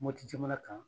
Mopti jamana kan